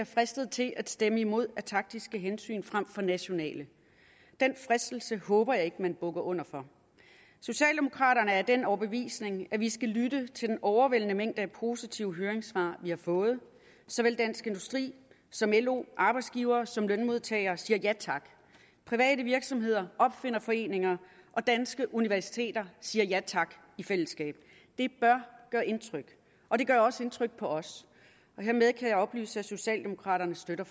fristet til at stemme imod af taktiske hensyn frem for nationale den fristelse håber jeg ikke man bukker under for socialdemokraterne er af den overbevisning at vi skal lytte til den overvældende mængde af positive høringssvar vi har fået såvel dansk industri som lo arbejdsgivere som lønmodtagere siger ja tak private virksomheder opfinderforeninger og danske universiteter siger ja tak i fællesskab det bør gøre indtryk og det gør også indtryk på os hermed kan jeg oplyse at socialdemokraterne støtter